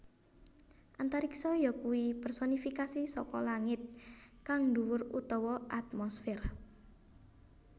Antariksa yakuwi personifikasi saka langit kang dhuwur utawa atmosfèr